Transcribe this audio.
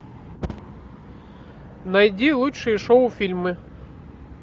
найди лучшие шоу фильмы